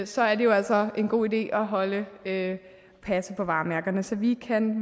så er det jo altså en god idé at passe på varemærkerne så vi kan